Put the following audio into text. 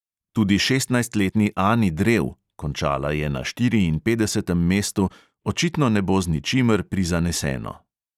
Tudi šestnajstletni ani drev (končala je na štiriinpetdesetem mestu) očitno ne bo z ničimer prizaneseno.